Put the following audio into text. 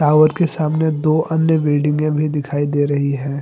Tower के सामने दो अन्य बिल्डिंगे भी दिखाई दे रही हैं।